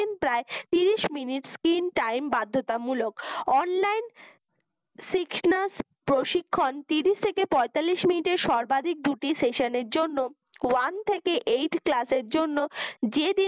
প্রায় ত্রিশ মিনিট তিন time বাধ্যতামূলক online sixnus প্রশিক্ষণ ত্রিশ থেকে পঁয়তাল্লিশ মিনিটের সর্বাদিক দুটি session এর জন্য one থেকে eight class র জন্য যেদিন